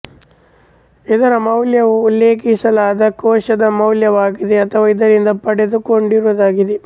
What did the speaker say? ಇದರ ಮೌಲ್ಯವು ಉಲ್ಲೇಖಿಸಲಾದ ಕೋಶದ ಮೌಲ್ಯವಾಗಿದೆ ಅಥವಾ ಇದರಿಂದ ಪಡೆದುಕೊಂಡಿರುವುದಾಗಿದೆ